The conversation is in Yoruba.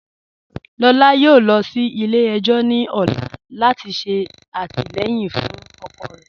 Lọlá yọ̀ọ̀ lọ sí ilẹ̀-ẹjọ̀ ni ọ̀lá lati ṣe atilẹyin fun ọkọ rẹ.